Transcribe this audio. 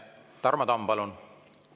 Tarmo Tamm, palun!